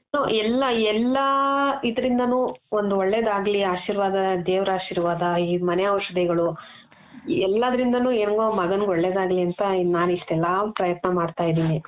so ಎಲ್ಲ ಎಲ್ಲಾ ಇದ್ರಿಂದಾನು ಒಂದು ಒಳ್ಳೆದಾಗ್ಲಿ ಆಶೀರ್ವಾದ ದೇವರ ಆಶೀರ್ವಾದ ಈ ಮನೆ ಔಷಧಿಗಳು ಎಲ್ಲಾದ್ರಿಂದಾನು ಹೆಂಗೊ ಮಗನಿಗೆ ಒಳ್ಳೆದಾಗ್ಲಿ ಅಂತ ನಾನಿಷ್ಟೆಲ್ಲಾ ಪ್ರಯತ್ನ ಮಾಡ್ತಾ ಇದೀನಿ .